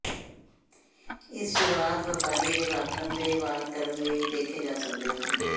ਇਸ ਸ਼ੁਰੂਆਤ ਵਪਾਰੀ ਦੇ ਵਾਪਰਨ ਦੇ ਦੇ ਵਾਰ ਕਰਨ ਲਈ ਵੇਖੇ ਜਾ ਸਕਦੇ ਹਨ